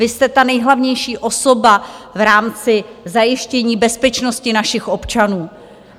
Vy jste ta nejhlavnější osoba v rámci zajištění bezpečnosti našich občanů.